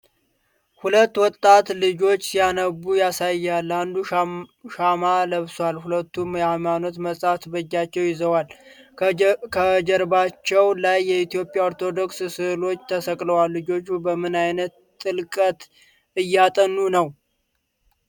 ሁለት ወጣት ልጆችን ሲያነቡ ያሳያል። አንዱ ሻማ ለብሷል፣ ሁለቱም የሃይማኖት መጻሕፍት በእጃቸው ይዘዋል። ከጀርባዎቻቸው ላይ የኢትዮጵያ ኦርቶዶክስ ስዕሎች ተሰቅለዋል። ልጆቹ በምን ዓይነት ጥልቀት እያጠኑ ነው?